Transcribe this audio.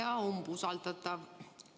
Hea umbusaldatav!